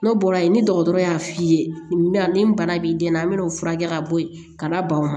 N'o bɔra ye ni dɔgɔtɔrɔ y'a f'i ye nin bana b'i den na n bɛ n'o furakɛ ka bɔ yen ka na ban o ma